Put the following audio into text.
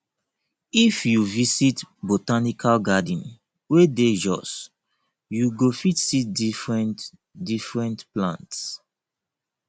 if you visit botanical garden wey dey jos you go fit see differentdifferent plants